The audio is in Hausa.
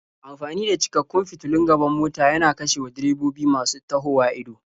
Amfani da cikakkun fitulun gaban mota yana kashewa direbobi masu tahowa ido.